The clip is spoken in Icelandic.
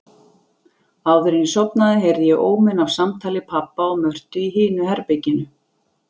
Áðuren ég sofnaði heyrði ég óminn af samtali pabba og Mörtu í hinu herberginu.